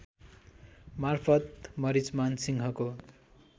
मार्फत मरिचमान सिंहको